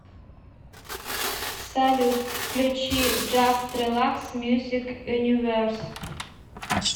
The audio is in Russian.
салют включи джаст релакс мьюзик юниверс